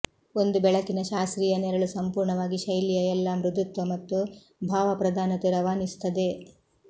ಒಂದು ಬೆಳಕಿನ ಶಾಸ್ತ್ರೀಯ ನೆರಳು ಸಂಪೂರ್ಣವಾಗಿ ಶೈಲಿಯ ಎಲ್ಲಾ ಮೃದುತ್ವ ಮತ್ತು ಭಾವಪ್ರಧಾನತೆ ರವಾನಿಸುತ್ತದೆ